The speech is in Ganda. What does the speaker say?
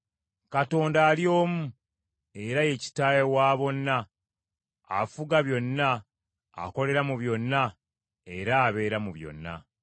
Katonda ali omu, era ye Kitaawe wa bonna, afuga byonna, akolera mu byonna era abeera mu byonna.